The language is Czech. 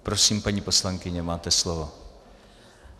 Prosím, paní poslankyně, máte slovo.